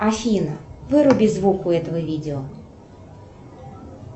афина выруби звук у этого видео